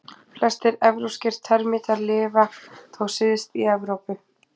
Flestir evrópskir termítar lifa þó syðst í Evrópu.